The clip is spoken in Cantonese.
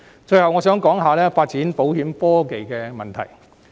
最後，我想談發展保險科技的問題。